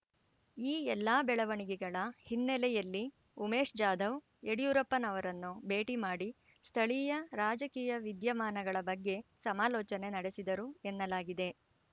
ಈ ಎಲ್ಲಾ ಬೆಳವಣಿಗೆಗಳ ಹಿನ್ನೆಲೆಯಲ್ಲಿ ಉಮೇಶ್ ಜಾಧವ್ ಯಡಿಯೂರಪ್ಪನವರನ್ನು ಭೇಟಿ ಮಾಡಿ ಸ್ಥಳೀಯ ರಾಜಕೀಯ ವಿದ್ಯಮಾನಗಳ ಬಗ್ಗೆ ಸಮಾಲೋಚನೆ ನಡೆಸಿದರು ಎನ್ನಲಾಗಿದೆ